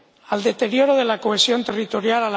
al deterioro de la cohesión territorial